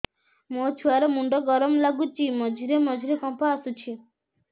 ମୋ ଛୁଆ ର ମୁଣ୍ଡ ଗରମ ଲାଗୁଚି ମଝିରେ ମଝିରେ କମ୍ପ ଆସୁଛି